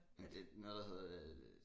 Ja det noget der hedder